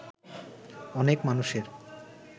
অনেক মানুষের